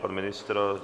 Pan ministr?